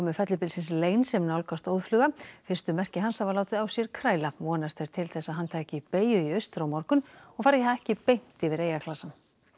fellibylsins Lane sem nálgast óðfluga fyrstu merki hans hafa látið á sér kræla vonast er til þess að hann taki beygju í austur á morgun og fari ekki beint yfir eyjaklasann